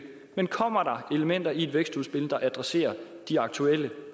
men kommer elementer i et vækstudspil der adresserer de aktuelle